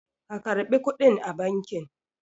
ka karɓi kuɗin a banki!